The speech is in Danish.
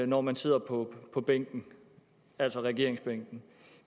når man sidder på på bænken altså regeringsbænken